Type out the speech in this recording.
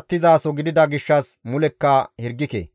attizaso gidida gishshas mulekka hirgike.